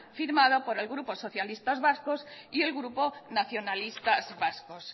firmada por el grupo socialistas vascos y el grupo nacionalistas vascos